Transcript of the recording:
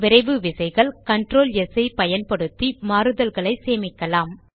விரைவு விசைகள் control S ஐ பயன்படுத்தி மாறுதல்களை சேமிக்கலாம்